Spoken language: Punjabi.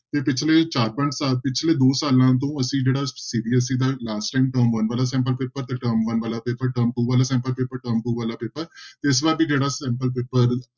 ਤੇ ਪਿੱਛਲੇ ਚਾਰ ਪੰਜ ਪਿੱਛਲੇ ਦੋ ਸਾਲਾਂ ਤੋਂ ਅਸੀਂ ਜਿਹੜਾ CBSE ਦਾ last time ਨਵੰਬਰ ਦਸੰਬਰ ਪੇਪਰ ਤੇ term one ਵਾਲਾ ਪੇਪਰ term two ਵਾਲਾ sample paper term two paper ਤੇ ਇਸ ਵਾਰ ਵੀ ਜਿਹੜਾ sample ਪੇਪਰ